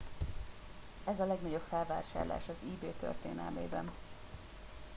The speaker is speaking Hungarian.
ez a legnagyobb felvásárlás az ebay történelmében